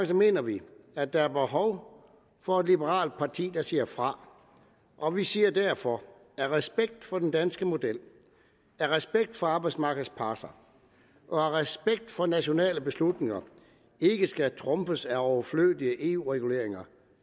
mener vi at der er behov for et liberalt parti der siger fra og vi siger derfor af respekt for den danske model af respekt for arbejdsmarkedets parter og af respekt for at nationale beslutninger ikke skal trumfes af overflødige eu reguleringer